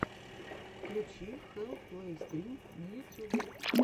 включи хэлл плэй стрим на ютьюбе